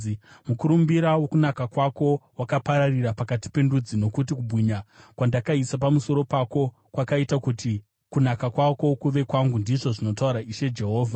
Mukurumbira wokunaka kwako wakapararira pakati pendudzi, nokuti kubwinya kwandakaisa pamusoro pako kwakaita kuti kunaka kwako kuve kwangu, ndizvo zvinotaura Ishe Jehovha.